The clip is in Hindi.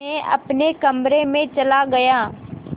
मैं अपने कमरे में चला गया